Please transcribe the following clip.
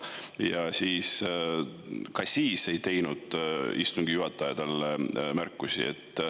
Ja ka siis ei teinud istungi juhataja talle märkusi.